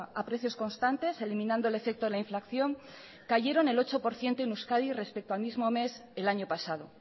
a precios constantes eliminando el efecto de la inflación cayeron el ocho por ciento en euskadi respecto al mismo mes el año pasado